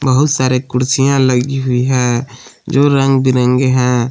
बहुत सारे कुर्सियां लगी हुई हैं जो रंग बिरंगे हैं।